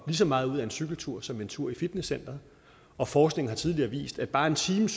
så meget ud af en cykeltur som af en tur i fitnesscenteret og forskningen har tidligere vist at bare en time